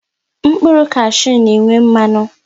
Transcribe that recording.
Mkpụrụ kashu n'enwe mmanụ